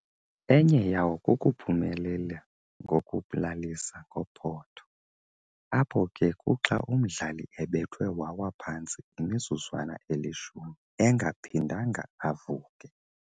Enye yawo kukuphumelela ngokulalisa ngophotho, apho ke kuxa umdlali ebethwe wawa phantsi imizuzwana elishumi engephindanga avuke.